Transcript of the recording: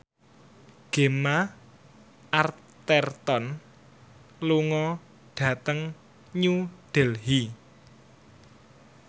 Gemma Arterton lunga dhateng New Delhi